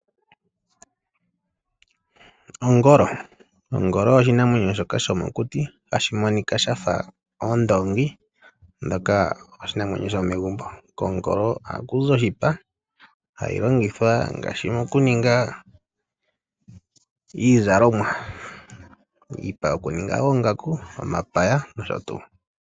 Ongolo Ongolo oyo oshinamwenyo shomokuti hayi monika ya fa ondoongi ndjoka oshinamwenyo shomegumbo. Kongolo ohaku zi oshipa hashi longithwa mokuninga iizalomwa, iipa yokuninga oongaku, omapaya nosho tuu.